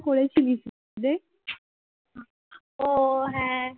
ও হ্যাঁ